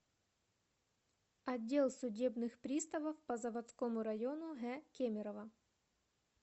отдел судебных приставов по заводскому району г кемерово